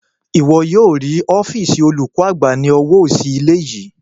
Ìwọ yóò rí ọ́fììsì olùkọ́ àgbà ní ọwọ́ òsì ilé yìí